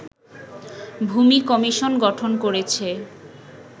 ভূমি কমিশন গঠন করেছে